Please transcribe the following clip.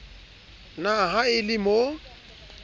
na ha e le mo